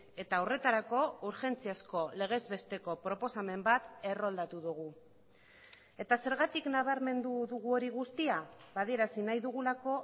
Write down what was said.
eta horretarako urgentziazko legez besteko proposamen bat erroldatu dugu eta zergatik nabarmendu dugu hori guztia adierazi nahi dugulako